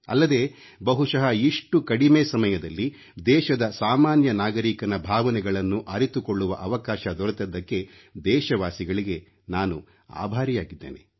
ಅಲ್ಲದೆ ಬಹುಶಃ ಇಷ್ಟು ಕಡಿಮೆ ಸಮಯದಲ್ಲಿ ದೇಶದ ಸಾಮಾನ್ಯ ನಾಗರಿಕನ ಭಾವನೆಗಳನ್ನು ಅರಿತುಕೊಳ್ಳುವ ಅವಕಾಶ ದೊರೆತದ್ದಕ್ಕೆ ದೇಶವಾಸಿಗಳಿಗೆ ನಾನು ಆಭಾರಿಯಾಗಿದ್ದೇನೆ